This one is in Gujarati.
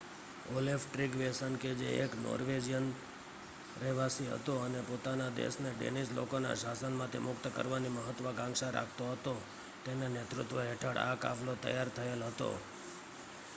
ઓલેફ ટ્રીગવેસન કે જે એક નોર્વેજિયન રહેવાસી હતો અને પોતાના દેશને ડેનિશ લોકોના શાસનમાંથી મુક્ત કરાવવાની મહત્વકાંક્ષા રાખતો હતો તેના નેતૃત્વ હેઠળ આ કાફલો તૈયાર થયેલ હતો